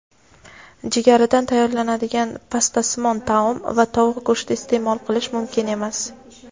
jigaridan tayyorlanadigan pastasimon taom) va tovuq go‘shti iste’mol qilish mumkin emas.